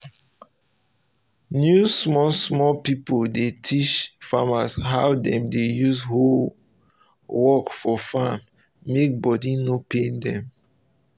new small small pipo dey teach farmers how dem go use hoe work for farm mek body no pain dem.